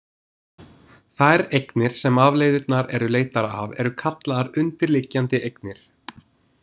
Þær eignir sem afleiðurnar eru leiddar af eru kallaðar undirliggjandi eignir.